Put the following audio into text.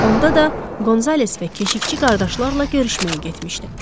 Onda da Qonzales və keşikçi qardaşlarla görüşməyə getmişdi.